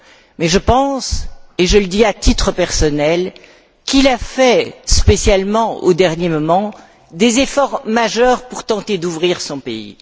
Mais je pense et je le dis à titre personnel qu'il a fait, spécialement au dernier moment, des efforts majeurs pour tenter d'ouvrir son pays.